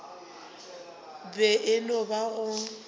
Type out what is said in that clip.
be e no ba go